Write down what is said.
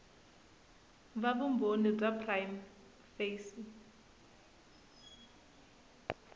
va vumbhoni bya prima facie